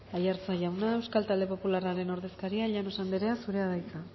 aiartza jauna euskal talde popularraren ordezkaria llanos andrea zurea da hitza